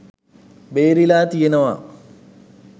බේරිලා තියෙනවා.